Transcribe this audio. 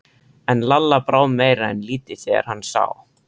En Lalla brá meira en lítið þegar hann sá